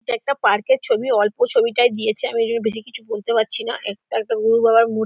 এটা একটা পার্ক -এর ছবিঅল্প ছবিটাই দিয়েছে আমি ঐজন্য বেশি কিছু বলতে পাচ্ছি না ।একটা গুরু বাবার মূ--